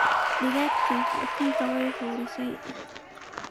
Digagtii ukumadhe way xuurise.